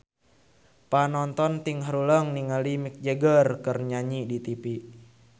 Panonton ting haruleng ningali Mick Jagger keur nyanyi di tipi